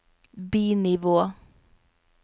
bi-nivå